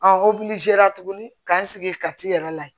tuguni k'an sigi ka t'i yɛrɛ layɛ